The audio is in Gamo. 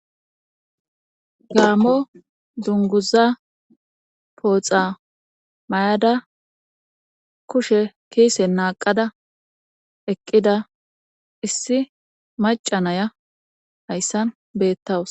gaammo dunguza pooxa may7ada kushe kiise naaqada eqqida issi macanaya hayssan beettawus